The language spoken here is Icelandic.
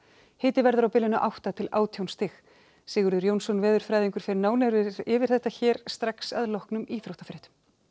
hiti verður á bilinu átta til átján stig Sigurður Jónsson veðurfræðingur fer nánar yfir þetta hér strax að loknum íþróttafréttum